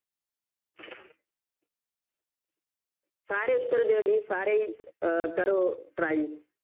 ਸਾਰੇ ਉੱਤਰ ਦਿਓ ਜੀ ਸਾਰੇ ਹੀ ਅਹ ਕਰੋ try